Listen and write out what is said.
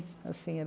assim